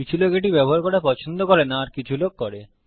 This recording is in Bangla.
কিছু লোক এটি ব্যবহার করা পছন্দ করে না আর কিছু লোক করে